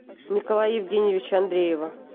николая евгеньевича андреева